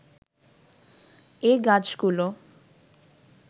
এ গাছগুলো